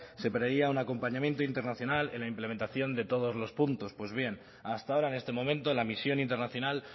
se preveía un acompañamiento internacional en la implementación de todos los puntos pues bien hasta ahora en este momento la misión internacional